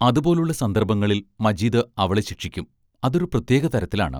അതുപോലുള്ള സന്ദർഭങ്ങളിൽ മജീദ് അവളെ ശിക്ഷിക്കും; അതൊരു പ്രത്യേക തരത്തിലാണ്.